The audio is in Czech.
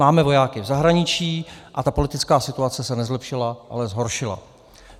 Máme vojáky v zahraničí a ta politická situace se nezlepšila, ale zhoršila.